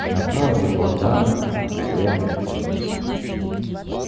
направо легла дама налево туз